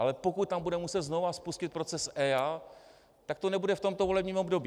Ale pokud tam budeme muset znovu spustit proces EIA, tak to nebude v tomto volebním období.